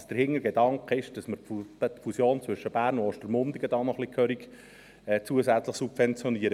Es kann nicht sein, dass der Hintergedanke ist, dass man die Fusion zwischen Bern und Ostermundigen dann noch kräftig zusätzlich subventioniert.